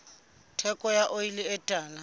theko ya oli e tala